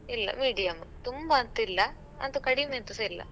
ಇಲ್ಲ medium ತುಂಬ ಅಂತಿಲ್ಲ ಅಂತು ಕಡಿಮೆ ಅಂತಸ ಇಲ್ಲ.